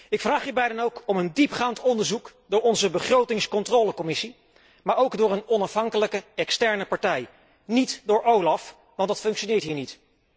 Ik vraag hierbij dan ook om een diepgaand onderzoek door onze Commissie begrotingscontrole, maar ook door een onafhankelijke externe partij, niet door OLAF, want dat functioneert hier niet.